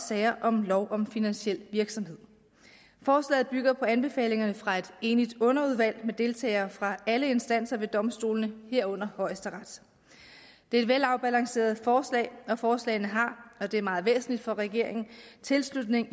sager om lov om finansiel virksomhed forslaget bygger på anbefalingerne fra et enigt underudvalg med deltagere fra alle instanser ved domstolene herunder højesteret det er et velafbalanceret forslag og forslaget har og det er meget væsentligt for regeringen tilslutning